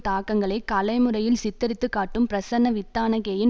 தாக்கங்களை கலை முறையில் சித்தரித்து காட்டும் பிரசன்ன வித்தானகேயின்